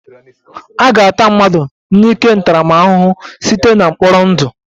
A ga-ata mmadụ n'ike ntaramahụhụ site na mkpọrọ ndụ